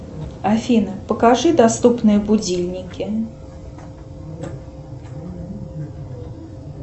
афина покажи доступные будильники